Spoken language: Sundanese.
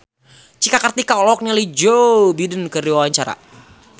Cika Kartika olohok ningali Joe Biden keur diwawancara